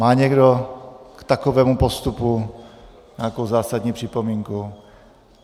Má někdo k takovému postupu nějakou zásadní připomínku?